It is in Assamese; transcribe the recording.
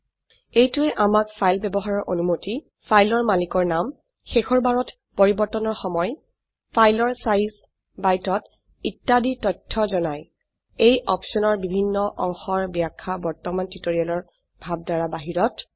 এইটোৱে আমাক ফাইল ব্যবহাৰৰ অনুমতি ফাইলৰ মালিকৰ নাম শেষৰবাৰত পৰিবৰ্তনৰ সময় ফাইলৰ সাইজ বাইটত ইত্যাদি তথ্য জনায় এই অপশনৰ বিভন্ন অংশৰ ব্যাখ্যা বৰ্তমান টিউটোৰিয়েলৰ ভাবধাৰা বাহিৰত